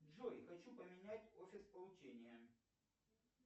джой хочу поменять офис получения